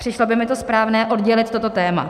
Přišlo by mi to správné, oddělit toto téma.